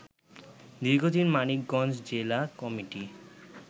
দীর্ঘদিন মানিকগঞ্জ জেলা কমিটি